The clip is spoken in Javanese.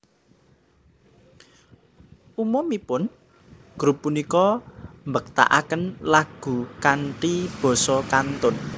Umumipun grup punika mbketakaken lagu kanthi basa kanton